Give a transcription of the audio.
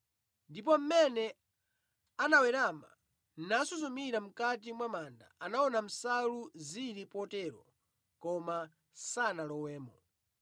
Ndipo mmene anawerama nasuzumira mʼkati mwa manda anaona nsalu zili potero koma sanalowemo.